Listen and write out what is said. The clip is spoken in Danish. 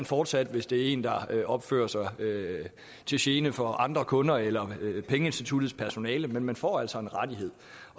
fortsat hvis det er en der opfører sig til gene for andre kunder eller pengeinstituttets personale men man får altså en rettighed